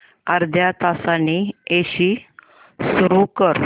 अर्ध्या तासाने एसी सुरू कर